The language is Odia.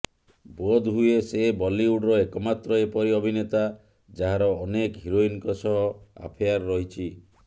ବୋଧହୁଏ ସେ ବଲିଉଡର ଏକମାତ୍ର ଏପରି ଅଭିନେତା ଯାହାର ଅନେକ ହିରୋଇନଙ୍କ ସହ ଆଫେୟାର ରହିଛି